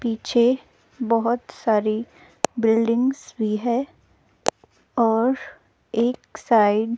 पीछे बहुत सारी बिल्डिंग्स भी है और एक साइड --